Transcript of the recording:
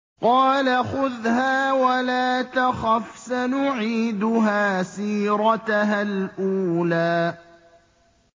قَالَ خُذْهَا وَلَا تَخَفْ ۖ سَنُعِيدُهَا سِيرَتَهَا الْأُولَىٰ